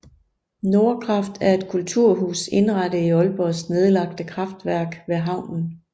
Nordkraft er et kulturhus indrettet i Aalborgs nedlagte kraftværk ved havnen